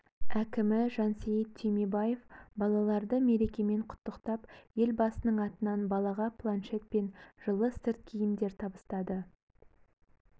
әкімі жансейіт түймебаев балаларды мерекемен құттықтап елбасының атынан балаға планшет пен жылы сырт киімдер табыстады